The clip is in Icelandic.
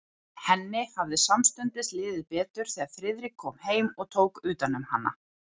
Henni hafði samstundis liðið betur, þegar Friðrik kom heim og tók utan um hana.